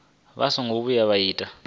vha songo vhuya vha ita